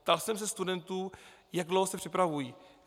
Ptal jsem se studentů, jak dlouho se připravují.